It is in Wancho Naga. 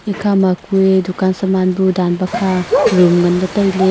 ekhama kua dukan saman bu dan paka room ngan le taile.